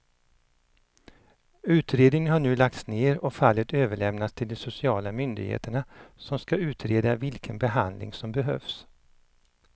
Utredningen har nu lagts ner och fallet överlämnats till de sociala myndigheterna som ska utreda vilken behandling som behövs.